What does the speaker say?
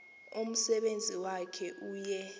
umsebenzi wakhe uye